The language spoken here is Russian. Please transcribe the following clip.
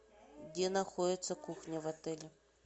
где находится кухня в отеле